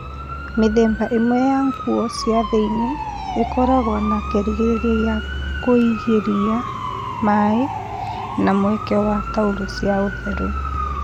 Mĩthemba ĩmwe ya nguo cia thĩ-iniĩ ĩkoragwo na kĩgirĩrĩria gĩa kũingĩra maĩ na mweke wa taurũ cia ũtheru